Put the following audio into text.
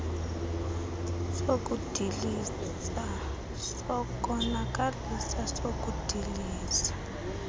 sokudiliza sokonakalisa sokudiliza